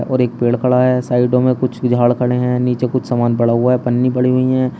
और एक पेड़ खड़ा साइडों में कुछ झाड़ खड़े है नीचे कुछ सामान पड़ा हुआ है पन्नी पड़ी हुई है।